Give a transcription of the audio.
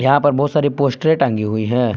यहां पर बहुत सारी पोस्टरे टंगी हुई हैं।